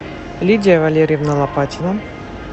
лидия валерьевна лопатина